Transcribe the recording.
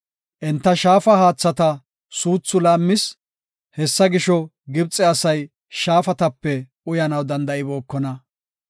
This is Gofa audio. Enta shaafa haathata suuthu laammis; hessa gisho, Gibxe asay shaafatape uyanaw danda7ibookona.